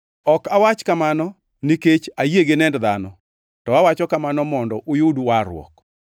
Ok awach kamano nikech ayie gi nend dhano, to awacho kamano mondo uyud warruok.